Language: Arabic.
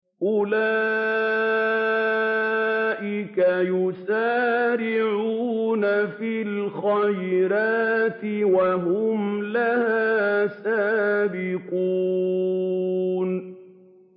أُولَٰئِكَ يُسَارِعُونَ فِي الْخَيْرَاتِ وَهُمْ لَهَا سَابِقُونَ